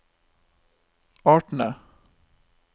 artene